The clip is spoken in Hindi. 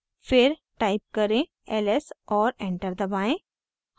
फिर type करें: ls और enter दबाएं